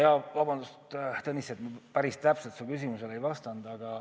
Jaa, vabandust, Tõnis, et ma päris täpselt su küsimusele ei vastanud.